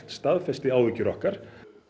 staðfesti áhyggjur okkar